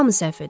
Hamı səhv edir.